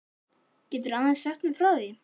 Geturðu aðeins sagt mér frá því?